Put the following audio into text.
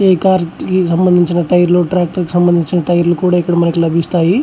ఈ కార్ సంబంధించిన టైర్ లు ట్రాక్టర్ కి సంబందించిన టైర్ లు కూడా ఇక్కడ మనకి లభిస్తాయి.